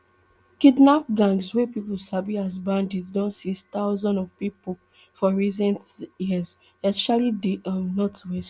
kidnap gangs wey pipo sabi as bandits don seize thousands of pipo for recent years especially di um northwest